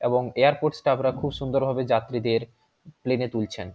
এবং এয়ারপোর্ট স্টাফরা খুব সুন্দর ভাবে যাত্রীদের প্লেনে তুলছেন ।